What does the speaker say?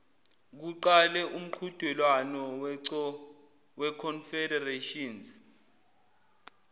kuqale umqhudelwano weconfederations